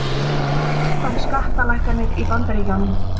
Áfram skattalækkanir í Bandaríkjunum